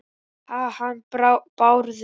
Ha- hann Bárður?